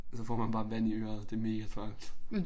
Så får man bare vand i øret. Det megatræls